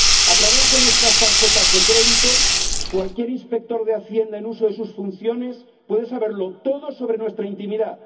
A través de nuestras tarjetas de crédito cualquier inspector de Hacienda en uso de sus funciones puede saberlo todo sobre nuestra intimidad.